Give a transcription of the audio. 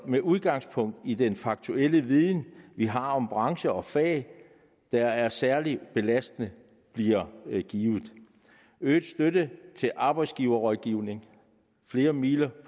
med udgangspunkt i den faktuelle viden vi har om branche og fag der er særligt belastende bliver givet øget støtte til arbejdsgiverrådgivning flere midler i